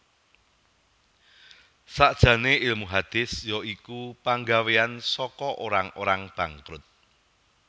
Sakjane ilmu hadits ya iku panggawean saka orang orang bangkrut